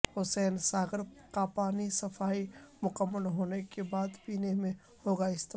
حسین ساگر کاپانی صفائی مکمل ہونے کے بعد پینے میں ہوگا استعمال